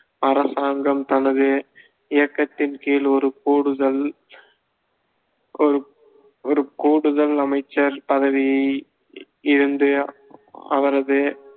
அரசாங்கம் தனது இயக்கத்தின் கீழ் ஒரு கூடுதல் ஒரு ஒரு கூடுதல் அமைச்சர் பதவியை இருந்து அவரது